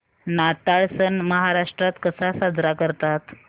नाताळ सण महाराष्ट्रात कसा साजरा करतात